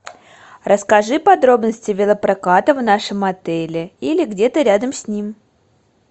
расскажи подробности велопроката в нашем отеле или где то рядом с ним